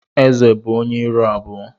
Ézè bụ ónyé ịrụ abụọ.